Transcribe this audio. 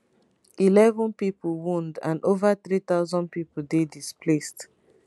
11 pipo wound and over 3000 pipo dey displaced